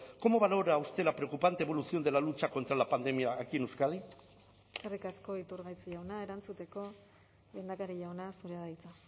cómo valora usted la preocupante evolución de la lucha contra la pandemia aquí en euskadi eskerrik asko iturgaiz jauna erantzuteko lehendakari jauna zurea da hitza